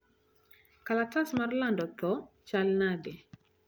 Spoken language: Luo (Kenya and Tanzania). kalatas mar lando tho chal nade